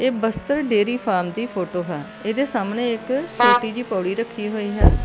ਬਸਤਰ dairy farm ਦੀ photo ਹੈ ਇਹਦੇ ਸਾਹਮਣੇ ਇੱਕ ਛੋਟੀ ਜਿਹੀ ਪੌੜੀ ਰੱਖੀ ਹੋਈ ਹੈ।